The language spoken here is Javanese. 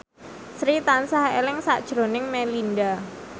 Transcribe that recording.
Sri tansah eling sakjroning Melinda